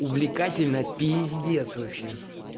увлекательно п вообще